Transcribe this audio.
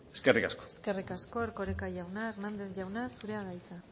eskerrik asko eskerrik asko erkoreka jauna hernández jauna zurea da hitza